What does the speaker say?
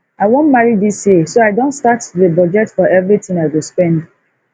i wan marry dis year so i don start to dey budget for everything i go spend